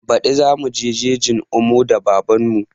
Baɗi za muje jejin omo da baban mu